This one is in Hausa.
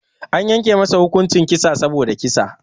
Anyanke masa hukuncin kissa saboda kissa.